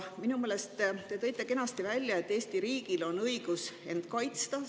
Minu meelest te tõite kenasti välja, et Eesti riigil on õigus end kaitsta.